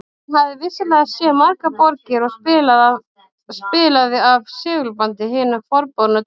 Hann hafði vissulega séð margar borgir og spilaði af segulbandi hina forboðnu tónlist